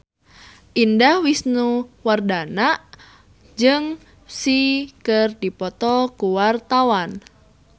Indah Wisnuwardana jeung Psy keur dipoto ku wartawan